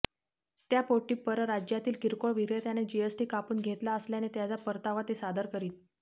त्यापोटी परराज्यातील किरकोळ विक्रेत्याने जीएसटी कापून घेतला असल्याने त्याचा परतावा ते सादर करीत